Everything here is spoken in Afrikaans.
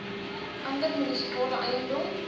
ander munisipale eiendom